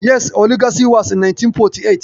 Yes, oligarchy was in nineteen forty eight.